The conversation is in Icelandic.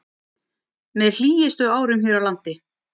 Með hlýjustu árum hér á landi